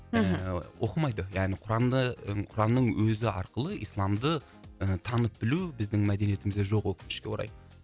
мхм ыыы оқымайды яғни құранды құранның өзі арқылы исламды ы танып білу біздің мәдениетімізде жоқ өкінішіке орай